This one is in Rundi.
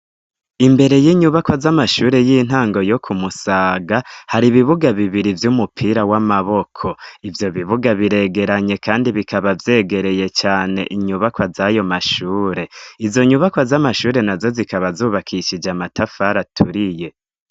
Imbere y'inyubakwa z'amashure y'intango yo kumusaga hari ibibuga bibiri vy'umupira w'amaboko ivyo bibuga biregeranye kandi bikaba vyegereye cane inyubakwa z'ayo mashure izo nyubakwa z'amashure na zo zikaba zubakishije amatafari aturiye.